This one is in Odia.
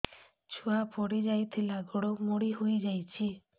ଛୁଆ ପଡିଯାଇଥିଲା ଗୋଡ ମୋଡ଼ି ହୋଇଯାଇଛି